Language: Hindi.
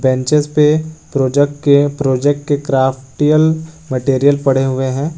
बेंचेज पे प्रोजेक्ट के प्रोजेक्ट के क्राफ्टियल मटेरियल पड़े हुए हैं।